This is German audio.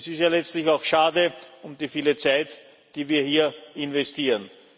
Es ist ja letztlich auch schade um die viele Zeit, die wir hier investieren.